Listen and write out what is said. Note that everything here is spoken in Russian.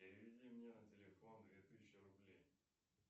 переведи мне на телефон две тысячи рублей